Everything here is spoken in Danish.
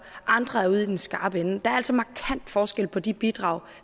andre er ude i den skarpe ende der er altså markant forskel på de bidrag